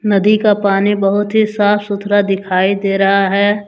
नदी का पानी बहुत ही साफ सुथरा दिखाई दे रहा है।